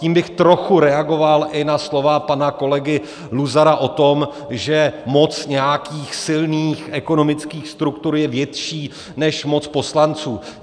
Tím bych trochu reagoval i na slova pana kolegy Luzara o tom, že moc nějakých silných ekonomických struktur je větší než moc poslanců.